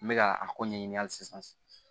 N bɛ ka a ko ɲɛɲini hali sisan